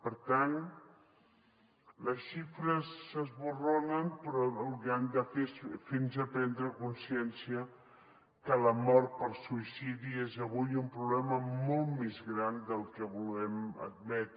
per tant les xifres esborronen però el que han que hem de fer és fer nos prendre consciència que la mort per suïcidi és avui un problema molt més gran del que volem admetre